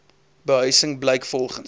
behuising blyk volgens